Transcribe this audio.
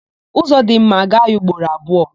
Ụzọ dị mma, a gaa ya ugboro abụọ.